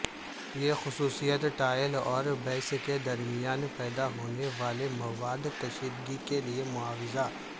یہ خصوصیت ٹائل اور بیس کے درمیان پیدا ہونے والے مواد کشیدگی کے لئے معاوضہ